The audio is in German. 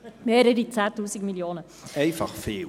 Es ist einfach viel!